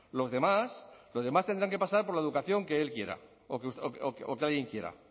los demás los demás tendrán que pasar por la educación que él quiera o que alguien quiera